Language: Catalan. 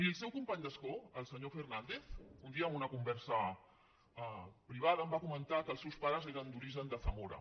miri el seu company d’escó el senyor fernàndez un dia en una conversa privada em va comentar que els seus pares eren d’origen de zamora